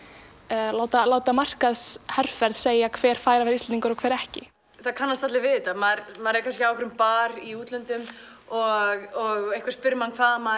eða láta láta markaðsherferð segja hver er Íslendingur og hver ekki það kannast allir við þetta maður maður er kannski á bar í útlöndum og einhver spyr hvaðan maður